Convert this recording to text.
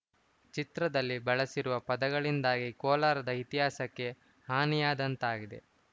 ಚಿತ್ರದಲ್ಲಿ ಬಳಸಿರುವ ಪದಗಳಿಂದಾಗಿ ಕೋಲಾರದ ಇತಿಹಾಸಕ್ಕೆ ಹಾನಿಯಾದಂತಾಗಿದೆ